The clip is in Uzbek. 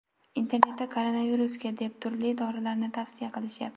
Internetda koronavirusga deb turli dorilarni tavsiya qilishyapti.